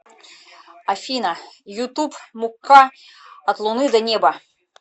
афина ютуб мукка от луны и до неба